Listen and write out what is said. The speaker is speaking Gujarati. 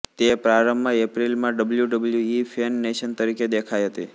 તે પ્રારંભમાં એપ્રિલમાં ડબ્લ્યુડબ્લ્યુઇ ફેન નેશન તરીકે દેખાઇ હતી